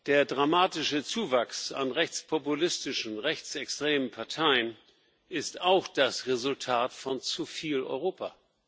Der dramatische Zuwachs an rechtspopulistischen, rechtsextremen Parteien ist auch das Resultat von zu viel Europa.